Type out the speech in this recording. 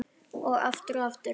Og aftur og aftur.